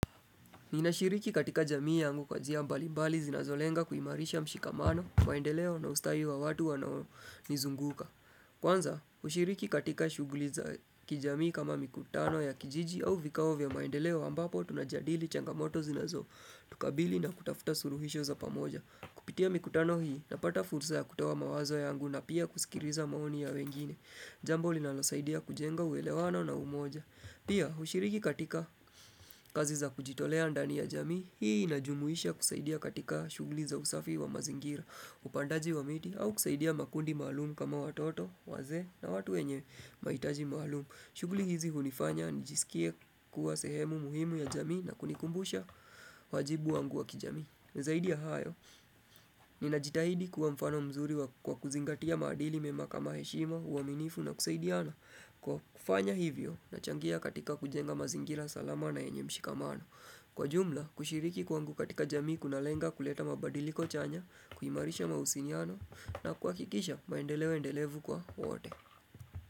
Ninashiriki katika jamii yangu kwa njia mbalimbali zinazolenga kuimarisha mshikamano, maendeleo na ustadi wa watu wanaonizunguka. Kwanza, kushiriki katika shuguli za kijamii kama mikutano ya kijiji au vikao vya maendeleo ambapo tunajadili changamoto zinazotukabili na kutafuta suluhisho za pamoja. Kupitia mikutano hii, napata fursa ya kutoa mawazo yangu na pia kusikiliza maoni ya wengine. Jambo linalosaidia kujenga huelewano na umoja. Pia, ushiriki katika kazi za kujitolea ndani ya jamii, hii inajumuisha kusaidia katika shuguli za usafi wa mazingira, upandaji wa miti au kusaidia makundi maalum kama watoto, wazee na watu wenye mahitaji maalum. Shuguli hizi hunifanya nijiskie kuwa sehemu muhimu ya jamii na kunikumbusha wajibu wangu wa kijamii. Zaidi ya hayo, ninajitahidi kuwa mfano mzuri wa kwa kuzingatia madili mema kama heshima, huaminifu na kusaidiana. Kwa kufanya hivyo, nachangia katika kujenga mazingira salama na yenye mshikamano. Kwa jumla, kushiriki kwangu katika jamii kunalenga kuleta mabadiliko chanya, kuhimarisha mahusiano na kuhakikisha maendeleo endelevu kwa wote.